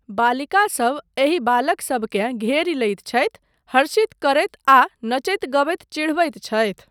बालिकासब एहि बालकसबकेँ घेरि लैत छथि, हर्षित करैत आ नचैत गबैत चिढ़बैत छथि।